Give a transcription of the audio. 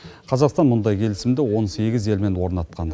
қазақстан мұндай келісімді он сегіз елмен орнатқан